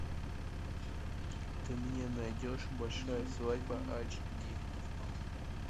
ты мне найдешь большая свадьба ач ди